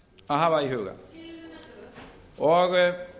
að hafa í huga það er